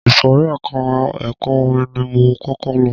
Ìsòrí ẹka ẹ̀kọ́ orin ni mo kọ́kọ́ lọ.